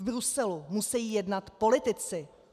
V Bruselu musejí jednat politici.